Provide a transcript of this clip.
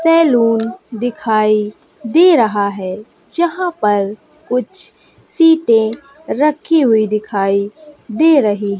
salon दिखाई दे रहा है जहां पर कुछ सीटें रखी हुई दिखाई दे रही--